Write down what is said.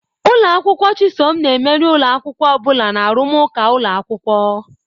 Ụlọ akwụkwọ Chisom na-emeri ụlọ akwụkwọ ọ bụla na arụmụka ụlọ akwụkwọ.